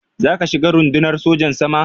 Za ka shiga Rundunar Sojan Sama?